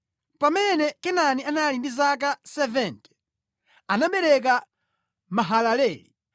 Pamene Kenani anali ndi zaka 70, anabereka Mahalaleli.